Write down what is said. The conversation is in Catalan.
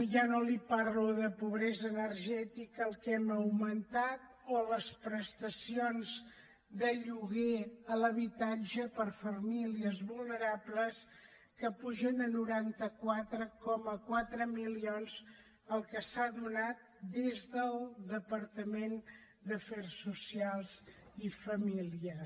ja no li parlo de pobresa energètica el que hem augmentat o les prestacions de lloguer a l’habitatge per a famílies vulnerables que puja a noranta quatre coma quatre milions el que s’ha donat des del departament d’afers socials i famílies